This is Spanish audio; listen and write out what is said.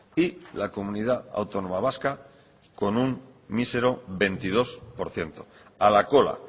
y la comunidad autónoma vasca con un mísero veintidós por ciento a la cola